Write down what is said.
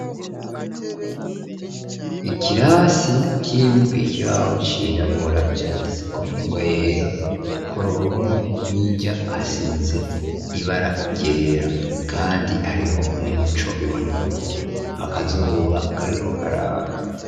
Ikirasi kirimwo ikibaho cirabura canditse ko ningwa yera ku ruhome hirya hasize ibara ryera ,kandi hariho umuco biboneka ko akazuba kariko karaka.